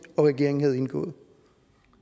og regeringen havde indgået